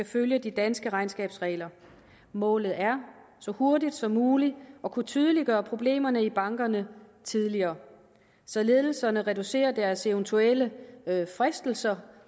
følge de danske regnskabsregler målet er så hurtigt som muligt at kunne tydeliggøre problemerne i bankerne tidligere så ledelserne reducerer deres eventuelle fristelse